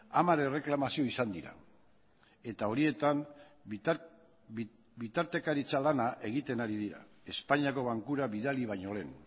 hamar erreklamazio izan dira eta horietan bitartekaritza lana egiten ari dira espainiako bankura bidali baino lehen